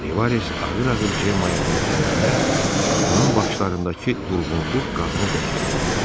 Rivas ağır-ağır Cemmaya tərəf dönəndə onun baxışlarındakı durğunluq qadını dəhşətə gətirdi.